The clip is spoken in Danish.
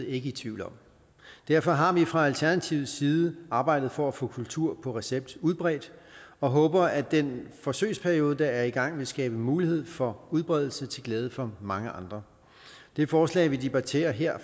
ikke i tvivl om derfor har vi fra alternativets side arbejdet for at få kultur på recept udbredt og håber at den forsøgsperiode der er i gang vil skabe mulighed for udbredelse til glæde for mange andre det forslag vi debatterer her